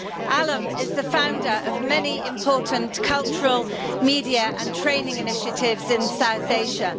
Alam is the founder of many important cultural, media and training initiatives in South Asia.